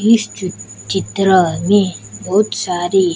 इस चि चित्र में बहुत सारी--